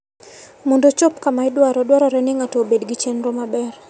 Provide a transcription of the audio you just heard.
Mondo ochop kama idwaro, dwarore ni ng'ato obed gi chenro maber.